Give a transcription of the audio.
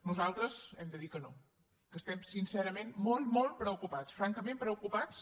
nosaltres hem de dir que no que estem sincerament molt molt preocupats francament preocupats